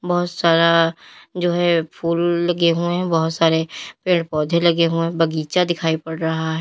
बहोत सारा जो है फूल लगे हुए हैं बहोत सारे पेड़ पौधे लगे हुए बगीचा दिखाई पड़ रहा है।